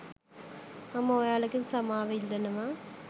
මම ඔයාලගෙන් සමාව ඉල්ලනවා